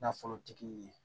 Nafolotigi ye